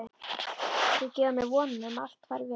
Þau gefa mér vonina um að allt fari vel.